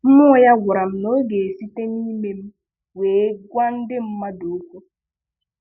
Mmụọ ya gwara m na ọ ga e site n'ime m wee gwa ndị mmadụ okwu